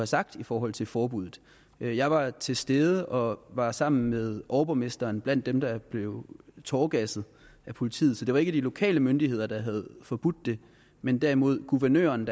sagt i forhold til forbuddet jeg var til stede og var sammen med overborgmesteren blandt dem der blev tåregasset af politiet så det var ikke de lokale myndigheder der havde forbudt det men derimod guvernøren